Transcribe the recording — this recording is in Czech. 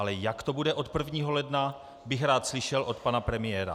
Ale jak to bude od 1. ledna, bych rád slyšel od pana premiéra.